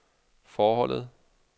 forholdet